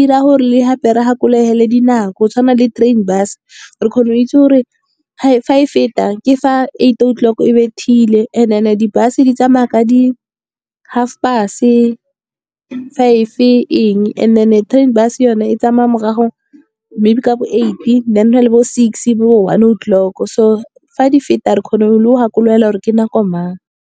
dira gore le gape re gakologele dinako. Go tshwana le train bus, re kgona go itse gore fa e feta ke fa eight o'clock e bethile, and then di-bus di tsamaya ka di-half past five eng. And then train bus yone e tsamaya morago maybe ka bo eight then go na le bo six, bo one o'clock. So fa di feta re kgona le go gakologelwa gore ke nako mang.